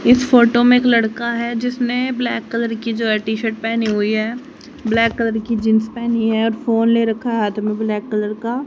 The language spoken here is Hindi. इस फोटो में एक लड़का है जिसने ब्लैक कलर की जो है टी-शर्ट पेहनी हुई है ब्लैक कलर की जींस पहनी है और फोन ले रखा है हाथ में ब्लैक कलर का।